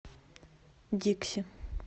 дикси